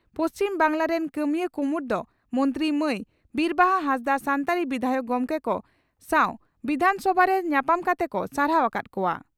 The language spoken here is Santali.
ᱯᱩᱪᱷᱤᱢ ᱵᱟᱝᱜᱽᱞᱟ ᱨᱮᱱ ᱠᱟᱹᱢᱤᱭᱟᱹ ᱠᱩᱢᱩᱴ ᱫᱚ ᱢᱚᱱᱛᱨᱤ ᱢᱟᱹᱭ ᱵᱤᱨᱵᱟᱦᱟ ᱦᱟᱸᱥᱫᱟᱜ ᱥᱟᱱᱛᱟᱲᱤ ᱵᱤᱫᱷᱟᱭᱚᱠ ᱜᱚᱢᱠᱮ ᱠᱚ ᱥᱟᱣ ᱵᱤᱫᱷᱟᱱ ᱥᱚᱵᱷᱟ ᱨᱮ ᱧᱟᱯᱟᱢ ᱠᱟᱛᱮ ᱠᱚ ᱥᱟᱨᱦᱟᱣ ᱟᱠᱟᱫ ᱠᱚᱣᱟ ᱾